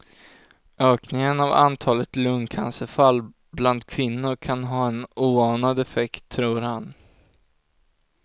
Ökningen av antalet lungcancerfall bland kvinnor kan ha en oanad effekt tror han.